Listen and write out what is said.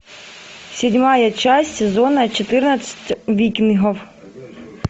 седьмая часть сезона четырнадцать викингов